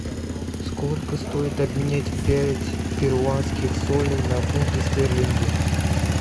сколько стоит обменять пять перуанских солей на фунты стерлинги